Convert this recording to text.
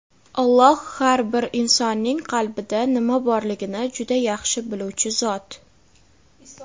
Alloh har bir insonning qalbida nima borligini juda yaxshi biluvchi Zot.